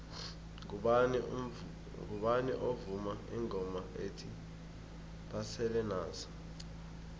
ngubani ovuma ingoma ethi basele nazo